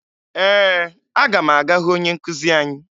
Ee, aga m aga hụ onye nkụzi anyị